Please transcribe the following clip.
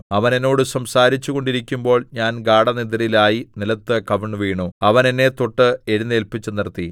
അവൻ എന്നോട് സംസാരിച്ചു കൊണ്ടിരിക്കുമ്പോൾ ഞാൻ ഗാഢനിദ്രയിലായി നിലത്ത് കവിണ്ണുവീണു അവൻ എന്നെ തൊട്ട് എഴുന്നേല്പിച്ചുനിർത്തി